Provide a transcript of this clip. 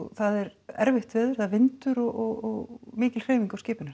það er erfitt veður vindur og mikil hreyfing á skipinu